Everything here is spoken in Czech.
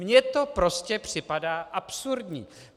Mně to prostě připadá absurdní.